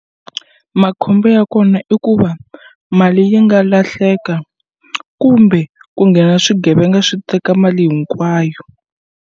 Makhombo ya kona i ku va mali yi nga lahleka kumbe ku nghena swigevenga swi teka mali hinkwayo.